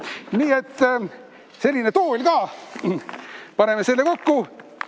Nii et selline tool ka, paneme selle kokku.